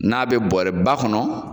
N'a bɛ bɔɔrɛ ba kɔnɔ.